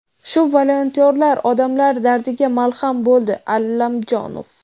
shu volontyorlar odamlar dardiga malham bo‘ldi – Allamjonov.